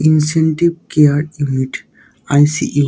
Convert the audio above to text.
Incentive care unit I . C .U..